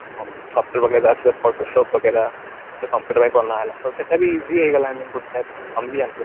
ତ computer ପାଇଁ ବନା ହେଲା ତ ସେଟା ବି easy ହେଇଗଲା I mean ଗୋଟେ type ର ତମେ ବି ଜାଣିଥିବ